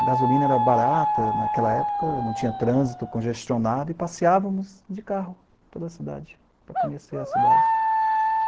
A gasolina era barata naquela época, não tinha trânsito, congestionado, e passeávamos de carro pela cidade, para conhecer a cidade.